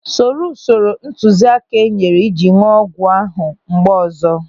Soro usoro ntụziaka e nyere iji ñụọ ọgwụ ahụ mgbe ọzọ.